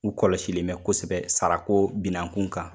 U kɔlɔsilen bɛ kosɛbɛ sara ko binan kun kan